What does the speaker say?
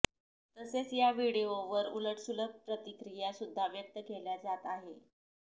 तसेच या व्हिडिओवर उलटसुलट प्रतिक्रिया सुद्धा व्यक्त केल्या जात आहेत